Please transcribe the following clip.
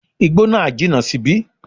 Igbó náà jìnà síbí